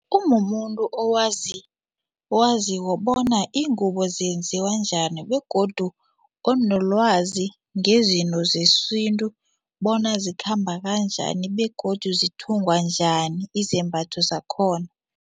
Umumuntu owaziko bona ingubo zenziwa njani begodu onolwazi ngezinto zesintu bona zikhamba kanjani begodu zithungwa njani izembatho zakhona.